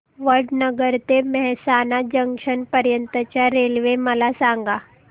वडनगर ते मेहसाणा जंक्शन पर्यंत च्या रेल्वे मला सांगा